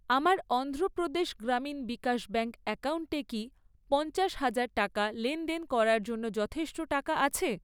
আমার অন্ধ্রপ্রদেশ গ্রামীণ বিকাশ ব্যাঙ্ক অ্যাকাউন্টে কি পঞ্চাশ হাজার টাকা লেনদেন করার জন্য যথেষ্ট টাকা আছে?